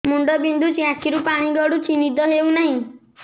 ମୁଣ୍ଡ ବିନ୍ଧୁଛି ଆଖିରୁ ପାଣି ଗଡୁଛି ନିଦ ହେଉନାହିଁ